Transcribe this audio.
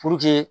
Puruke